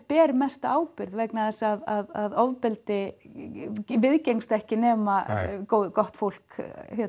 ber mesta ábyrgð vegna þess að ofbeldi viðgengst ekki nema gott fólk